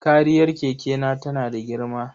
Kariyar kekena tana da girma.